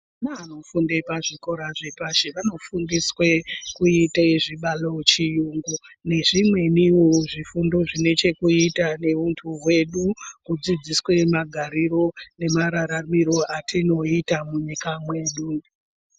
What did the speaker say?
Vana vanofunda fundo yepashi vanofundiswa kuita zvibalo ,chiyungu nezvimweniwo zvifundo zvinechokuita neuntu hwedu kudzidziswa magariro nemararamiro atinoita munyika mwedu.